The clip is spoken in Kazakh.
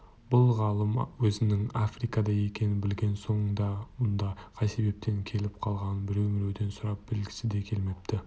бұл ғалым өзінің африкада екенін білген соң да мұнда қай себеппен келіп қалғанын біреу-міреуден сұрап білгісі де келмепті